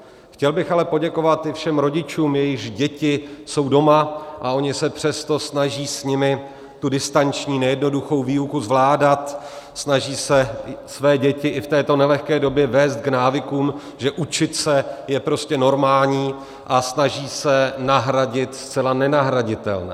Chtěl bych ale poděkovat i všem rodičům, jejichž děti jsou doma, a oni se přesto snaží s nimi tu distanční nejednoduchou výuku zvládat, snaží se své děti i v této nelehké době vést k návykům, že učit se je prostě normální, a snaží se nahradit zcela nenahraditelné.